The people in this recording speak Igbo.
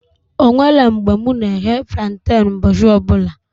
Onwere mgbe mụ na eghe planten ụbọchị ọbụla